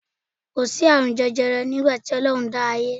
Kò sí àrùn jẹjẹrẹ nígbà tí Ọlọ́run dá ayé